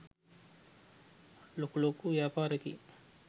ලොකු ලොකු ව්‍යාපාරිකයින්.